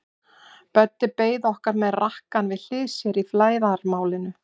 Böddi beið okkar með rakkann við hlið sér í flæðarmálinu.